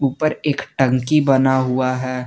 उपर एक टंकी बना हुआ है।